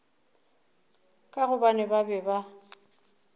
ka gobane ba be ba